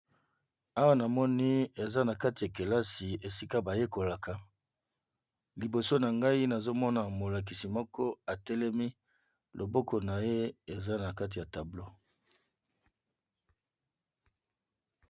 Awa namoni eza nakati ya kelasi esika bayekolaka liboso nangai nazo mona molakisi moko atelemi loboko naye eza nakati ya tableau